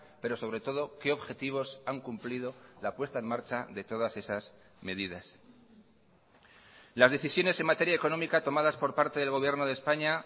pero sobre todo qué objetivos han cumplido la puesta en marcha de todas esas medidas las decisiones en materia económica tomadas por parte del gobierno de españa